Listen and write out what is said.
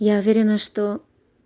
я уверена что